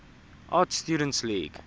art students league